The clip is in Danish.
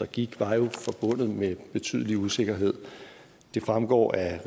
givet var jo forbundet med betydelig usikkerhed det fremgår af